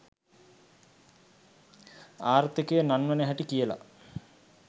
ආර්ථිකය නංවන හැටි කියල